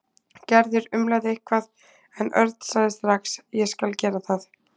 Gerður umlaði eitthvað en Örn sagði strax: Ég skal gera það.